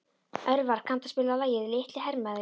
Örvar, kanntu að spila lagið „Litli hermaðurinn“?